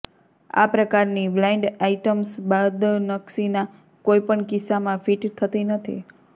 આ પ્રકારની blind items બદનક્ષીના કોઈપણ કિસ્સામાં ફિટ થતી નથી